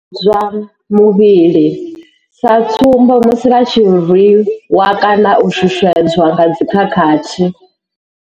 U tambudzwa muvhili sa tsumbo, musi vha tshi rwi wa kana u shushedzwa nga dzi khakhathi.